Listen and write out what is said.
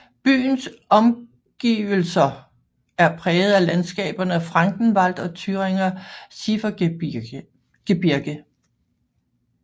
Byens omgivelæser er præget af landskaberne Frankenwald og Thüringer Schiefergebirge